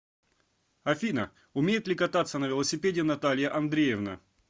афина умеет ли кататься на велосипеде наталья андреевна